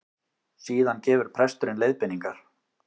Síðan gefur presturinn leiðbeiningar